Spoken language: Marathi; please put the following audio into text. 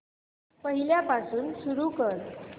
पहिल्यापासून सुरू कर